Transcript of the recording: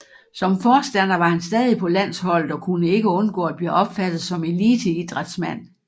Som forstander var han stadig på landsholdet og kunne ikke undgå at blive opfattet som eliteidrætsmand